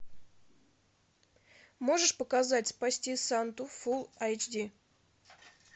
можешь показать спасти санту фул айч ди